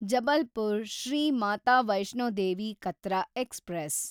Jabalpur Shri Mata Vaishno Devi Katra express